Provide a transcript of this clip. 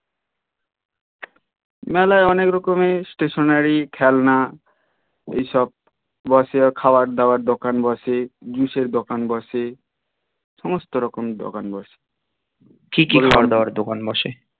মেলায় অনেক রকম স্টেশনারি খেলনা এইসব বসে খাওয়ার দাওয়ার দোকান বসে বিষের দোকান বসে সমস্ত দোকান বসে দোকান বসে